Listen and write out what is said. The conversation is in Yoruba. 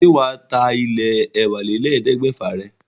Ṣé wà á ta ilé ẹ̀wálélẹ́ẹ̀ẹ́dẹ́gbẹ́fà rẹ̀?